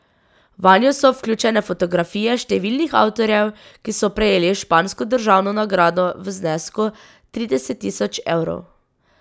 Vanjo so vključene fotografije številnih avtorjev, ki so prejeli špansko državno nagrado v znesku trideset tisoč evrov.